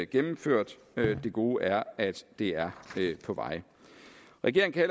gennemført det gode er at det er på vej regeringen kan